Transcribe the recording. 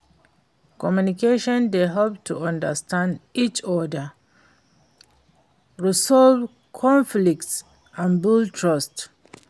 communication dey help to understand each oda, resolve conflicts and build trust.